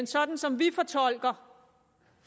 sådan som vi fortolker